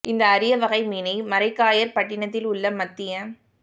இந்த அரிய வகை மீனை மரைக்காயர் பட்டிணத்தில் உள்ள மத்திய